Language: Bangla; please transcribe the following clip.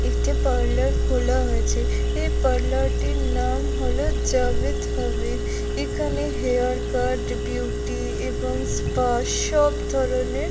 একটি পার্লার খোলা হয়েছে এই পার্লার টির নাম হলো জাভেদ হাবিব এখানে হেয়ার কাট বিউটি এবং স্পা সব ধরনের --